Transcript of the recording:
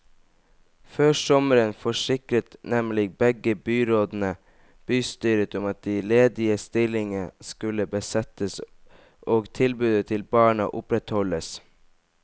Før sommeren forsikret nemlig begge byrådene bystyret om at de ledige stillingene skulle besettes og tilbudet til barna opprettholdes.